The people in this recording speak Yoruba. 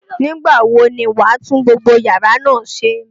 Nígbà wo ni wà á tún gbogbo yàrá náà ṣe?